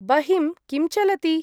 बहिं किं चलति?